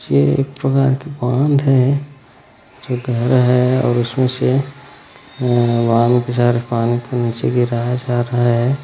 ये एक प्रकार के बाँध है जो गहरा है और उसमे से अअअ बहुत सारा पानी को निचे गिरा जा रहा है।